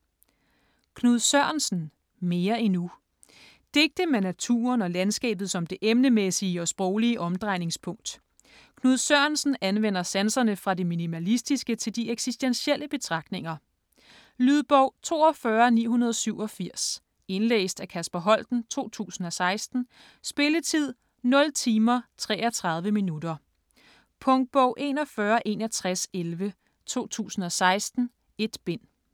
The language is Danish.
Sørensen, Knud: Mere endnu Digte med naturen og landskabet som det emnemæssige og sproglige omdrejningspunkt. Knud Sørensen anvender sanserne fra det minimalistiske til de eksistentielle betragtninger. Lydbog 42987 Indlæst af Kasper Holten, 2016. Spilletid: 0 timer, 33 minutter. Punktbog 416111 2016. 1 bind.